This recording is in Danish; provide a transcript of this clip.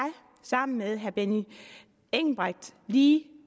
sammen med herre benny engelbrecht lige